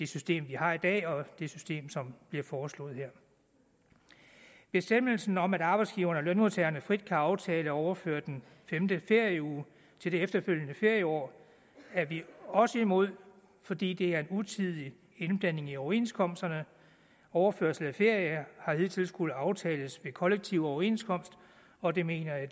system vi har i dag og det system som bliver foreslået her bestemmelsen om at arbejdsgiverne og lønmodtagerne frit kan aftale at overføre den femte ferieuge til det efterfølgende ferieår er vi også imod fordi det er en utidig indblanding i overenskomsterne overførsel af ferie har hidtil skullet aftales ved kollektiv overenskomst og det mener jeg at